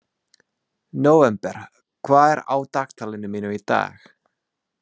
Nóvember, hvað er á dagatalinu mínu í dag?